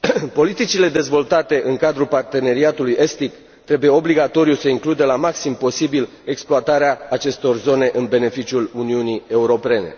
Politicile dezvoltate în cadru parteneriatului estic trebuie obligatoriu să includă la maxim posibil exploatarea acestor zone în beneficiul Uniunii Europene.